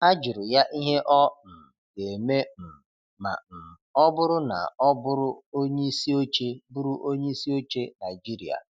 A jụrụ ya ihe ọ um ga-eme um ma um ọ bụrụ na ọ bụrụ onyeisi oche bụrụ onyeisi oche Naijiria.